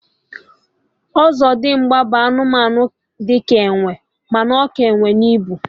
Ọzọdimgba bụ anụmanụ di ka enwe, ma ọ ka enwe n'ibu